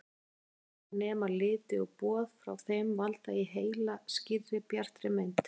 Keilurnar nema liti og boð frá þeim valda í heila skýrri, bjartri mynd.